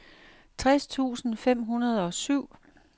tres tusind fem hundrede og syv